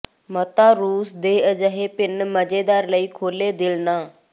ਮਾਤਾ ਰੂਸ ਦੇ ਅਜਿਹੇ ਭਿਨ ਮਜ਼ੇਦਾਰ ਲਈ ਖੁੱਲ੍ਹੇ ਦਿਲ ਨਾ